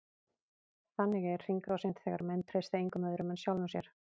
Þannig er hringrásin, þegar menn treysta engum öðrum en sjálfum sér.